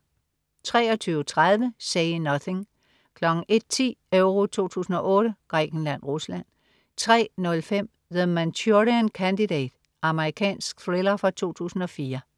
23.30 Say Nothing 01.10 EURO 2008: Grækenland-Rusland 03.05 The Manchurian Candidate. Amerikansk thriller fra 2004